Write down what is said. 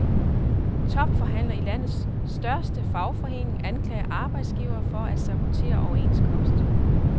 Topforhandler i landets største fagforening anklager arbejdsgivere for at sabotere overenskomst.